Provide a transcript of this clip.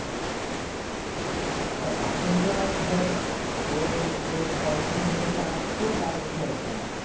আর এখন তো আর ধর ওই তোর পঞ্চাশ মিনিট করে খেলা হচ্ছে তার বেশি হচ্ছে না।